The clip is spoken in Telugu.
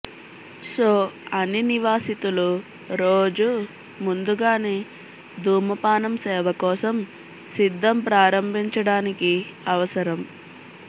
సో అన్ని నివాసితులు రోజు ముందుగానే ధూమపానం సేవ కోసం సిద్ధం ప్రారంభించడానికి అవసరం